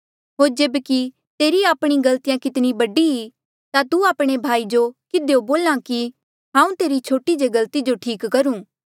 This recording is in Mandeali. होर जेब्की तेरी आपणी गलतिया कितनी बडी ई ता तू आपणे भाई जो किधियो बोल्हा कि हाऊँ तेरी छोटी जे गलती ठीक करुं